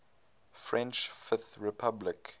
french fifth republic